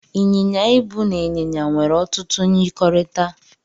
Ị́n̄yin̄ya ịbụ na ịn̄yịn̄ya nwere otutu myirikọrịta.